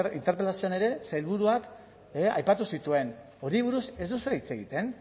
interpelazioan ere sailburuak aipatu zituen horri buruz ez duzue hitz egiten